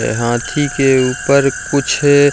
अ हाथी के ऊपर कुछ --